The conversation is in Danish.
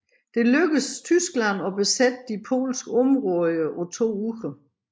Det lykkedes Tyskland at besætte de polske områder på to uger